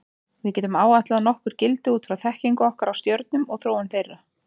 Við getum áætlað nokkur gildi út frá þekkingu okkar á stjörnum og þróun þeirra.